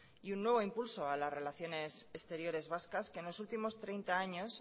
y un nuevo impulso a las relaciones exteriores vascas que en los últimos treinta años